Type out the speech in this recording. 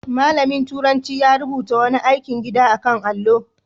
Malamin turanci ya rubuta wani aikin gida a kan allo.